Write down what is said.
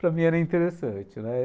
Para mim era interessante, né?